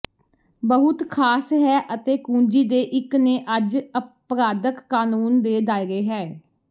ਬਹੁਤ ਖਾਸ ਹੈ ਅਤੇ ਕੁੰਜੀ ਦੇ ਇੱਕ ਨੇ ਅੱਜ ਅਪਰਾਧਕ ਕਾਨੂੰਨ ਦੇ ਦਾਇਰੇ ਹੈ